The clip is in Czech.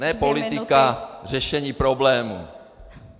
Ne politika řešení problémů.